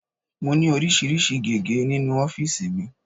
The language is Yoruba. Mo ní oríṣiríṣi gege nínú ofiisi mi.